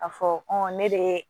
A fɔ ne de